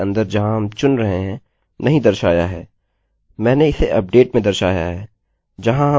मैंने इसे अपडेट में दर्शाया है जहाँ हम अपडेट कर सकते हैं where the firstname equals alex and the lastname equals garrett